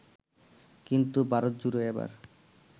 কিন্তু ভারতজুড়ে এবার